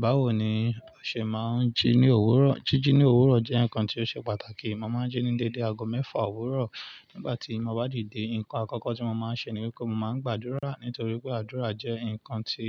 Báwo ni ọṣẹ máa ń jí ní òwúrọ̀? Jíjí ní òwúrọ̀ jẹ́ nǹkan tí ó ṣe pàtàkì. Mo máa ń jí ní déédé aago mẹ́fà òwúrọ̀. Nígbà tí mo bá dìde, nǹkan àkọ́kọ́ tí mo máa ń ṣe ni wípé mo máa ń gbàdúrà nítorí pé àdúrà jẹ́ nǹkan tí